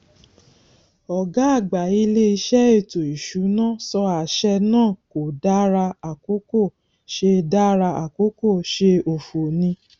ọgá àgbà ilé ìṣe ètò ìsúná sọ àṣẹ náà kò dára àkókò ṣe dára àkókò ṣe òfo ni